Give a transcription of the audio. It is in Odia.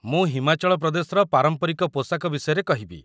ମୁଁ ହିମାଚଳ ପ୍ରଦେଶର ପାରମ୍ପରିକ ପୋଷାକ ବିଷୟରେ କହିବି